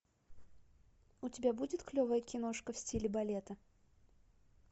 у тебя будет клевая киношка в стиле балета